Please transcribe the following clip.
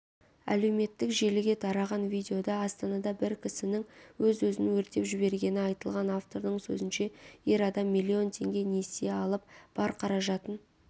әлеуметтік желіге тараған видеода астанада бір кісінің өз-өзін өртеп жібергені айтылған автордың сөзінше ер адам миллион теңге несие алып бар қаражатын